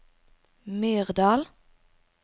Myrdal